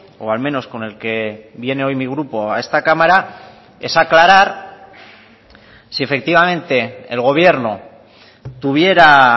o al menos con el que viene hoy mi grupo a esta cámara es aclarar si efectivamente el gobierno tuviera